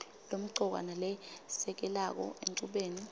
lemcoka nalesekelako enchubeni